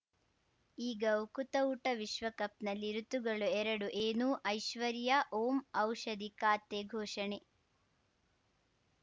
ಈಗ ಉಕುತ ಊಟ ವಿಶ್ವಕಪ್‌ನಲ್ಲಿ ಋತುಗಳು ಎರಡು ಏನು ಐಶ್ವರ್ಯಾ ಓಂ ಔಷಧಿ ಖಾತೆ ಘೋಷಣೆ